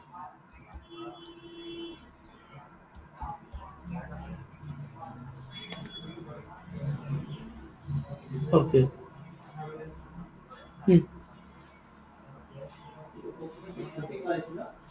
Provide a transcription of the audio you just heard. okay উম